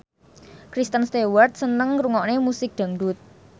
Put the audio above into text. Kristen Stewart seneng ngrungokne musik dangdut